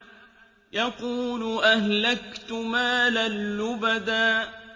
يَقُولُ أَهْلَكْتُ مَالًا لُّبَدًا